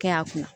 Kɛ a kunna